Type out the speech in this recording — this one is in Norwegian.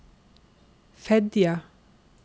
Fedje